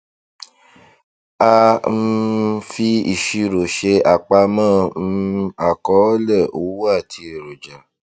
a um fi ìṣirò ṣe àpamọ um àkọọlẹ owó àti eroja